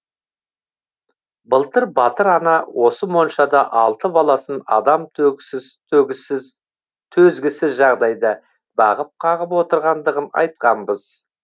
былтыр батыр ана осы моншада алты баласын адам төзгісіз жағдайда бағып қағып отырғандығын айтқанбыз